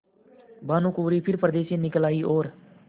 भानुकुँवरि फिर पर्दे से निकल आयी और